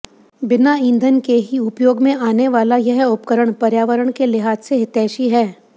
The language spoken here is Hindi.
बिना ईंधन के ही उपयोग में आनेवाला यह उपकरण पर्यावरण के लिहाज से हितैषी है